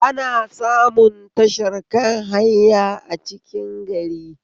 Ana samun tashar kan haya a cikin gari